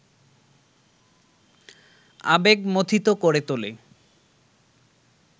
আবেগমথিত করে তোলে